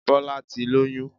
Bọ́lá ti lóyún